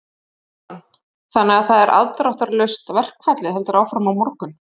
Jóhann: Þannig að það er afdráttarlaust, verkfallið heldur áfram á morgun?